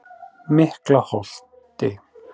Miklaholti